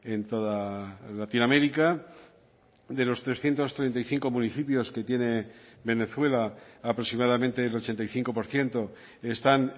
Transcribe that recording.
en toda latinoamérica de los trescientos treinta y cinco municipios que tiene venezuela aproximadamente el ochenta y cinco por ciento están